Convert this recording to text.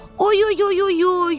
Oyoyoyoyoy!